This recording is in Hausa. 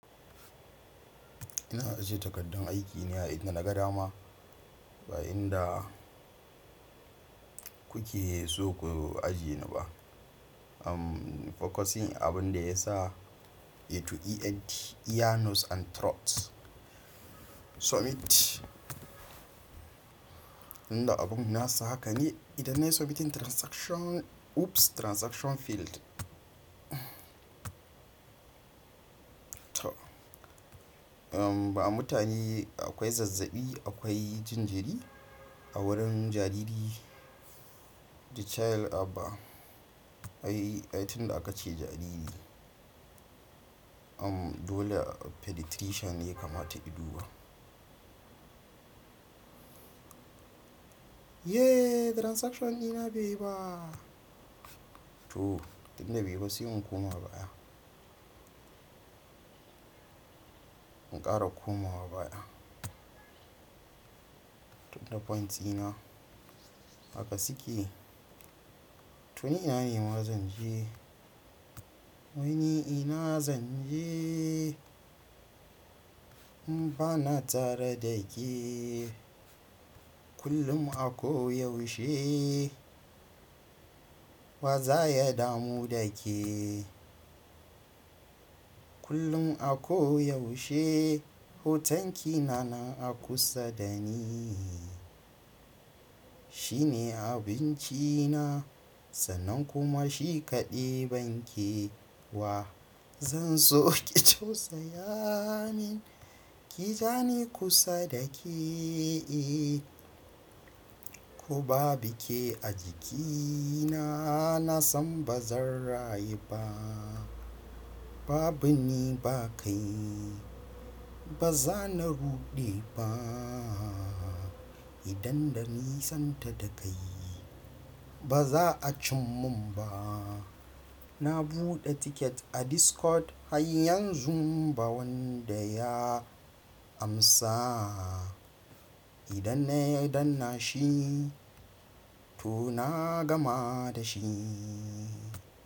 Ina ajiye takardar aiki ne a inda na ga dama ba inda kuke so ku ajiye ni ba. Amm, fokosi abin da ya sa, E to ENT, ear, nose and throat. Submit. Inda abun nasa haka ne. Idan na submitin transaction oops! Transaction failed. To. Amm, ba mutane akwai zazzabi, akwai jinjiri a wurin jariri. The child aba. Ai, ai, tinda da aka ce jariri. Amm, dole pediatrician ne ya kamata in duba. Yeee! Transaction ɗina baiyi ba. To, tunda baiyiba sai in koma baya. Inƙara koma wa baya. Tunda points ina. Haka sukeyi to ni a yi ma zan je. To ni ina zan jeee? In ba na tare da keee. Kullum ako yausheee. Ba za ya damu da keee. Kullum ako yausheee. Hoton ki na na a kusa da ni. Shi ne abinci na. Sanan kuma shi kaɗai banke wa. Zan so ki tausaya min. Ki zani kusa da keee. Ku ba bike a jikina. Na san ba zan rayu ba. Babu ni ba kai. Ba za na ruɗe baaa. Idan da ni santa da kai. Ba za a cin mun ba. Na buɗe ticket a Discord har yanzu ba wanda ya amsa. Idan na ya danna shi, to na gama da shi.